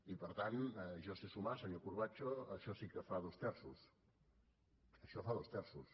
i per tant jo sé sumar senyor corbacho això sí que fa dos terços això fa dos terços